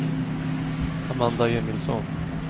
Amanda Emilsson